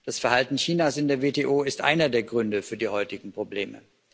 Das Verhalten Chinas in der WTO ist einer der Gründe für die heutigen Probleme.